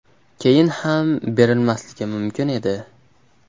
Keyin ham berilmasligi mumkin edi.